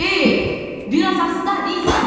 Hey, biraz asta Liza!